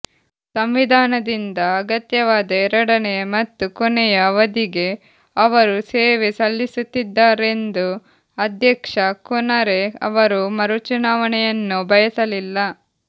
ಸಂವಿಧಾನದಿಂದ ಅಗತ್ಯವಾದ ಎರಡನೆಯ ಮತ್ತು ಕೊನೆಯ ಅವಧಿಗೆ ಅವರು ಸೇವೆ ಸಲ್ಲಿಸುತ್ತಿದ್ದಾರೆಂದು ಅಧ್ಯಕ್ಷ ಕೊನರೆ ಅವರು ಮರುಚುನಾವಣೆಯನ್ನು ಬಯಸಲಿಲ್ಲ